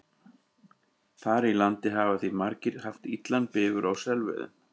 Þar í landi hafa því margir haft illan bifur á selveiðum.